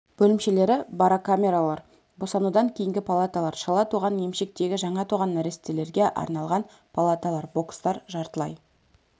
бөлімшелері барокамералар босанудан кейінгі палаталар шала туған емшектегі жаңа туған нәрестелерге арналған палаталар бокстар жартылай